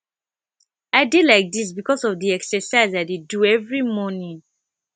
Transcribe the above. i dey like dis because of the exercise i dey do every morning